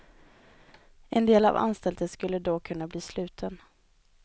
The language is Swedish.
En del av anstalten skulle då kunna bli sluten.